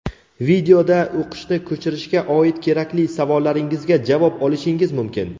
Videoda o‘qishni ko‘chirishga oid kerakli savollaringizga javob olishingiz mumkin.